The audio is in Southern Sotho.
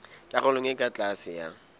karolong e ka tlase ya